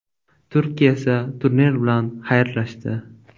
Turkiya esa turnir bilan xayrlashdi.